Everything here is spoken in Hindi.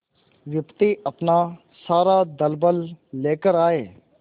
विपत्ति अपना सारा दलबल लेकर आए